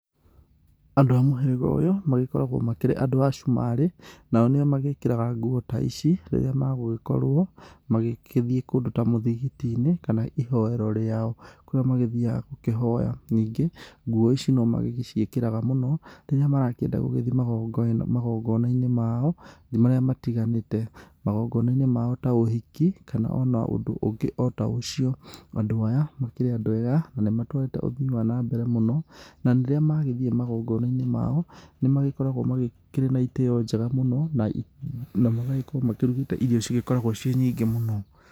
Andũ a mũhĩrĩga ũyũ magĩkoragwo makĩrĩ andũ a cumarĩ nao nĩo magĩkĩraga nguo ta ici rĩrĩa magũgĩkorwo magĩgĩthiĩ kũndũ ta mũthigiti-inĩ kana ihoero rĩao kũrĩa magĩthiaga gũkĩhoya. Ningĩ nguo ici no magĩciĩkĩraga mũno rĩrĩa marakĩenda gũthiĩ magongonainĩ mao marĩa matĩganĩte, magongonainĩ mao ta ũhiki kana ona ũndũ ũngĩ ota ũcio. Andũ aya makĩrĩ andũ ega na nĩmatũhete uthii wa nambere mũno, na rĩrĩa magĩthiĩ magongonainĩ mao, nĩ magĩkoragwo makĩrĩ na itĩo njega mũno na magagĩkorwo makĩruta irio igĩkoragwo ciĩ nyingĩ muno.